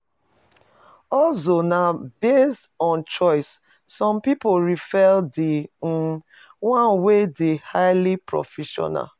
Hustle na based on choice some pipo prefer di um one wey de highly professional